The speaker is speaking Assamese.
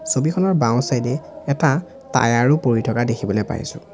ছবিখনৰ বাওঁ চাইড এ এটা টায়াৰ ও পৰি থকা দেখিবলৈ পাইছোঁ।